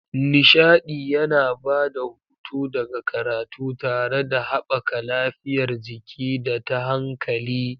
Nishaɗi yana ba da hutu daga karatu tare da haɓaka lafiyar jiki da ta hankali.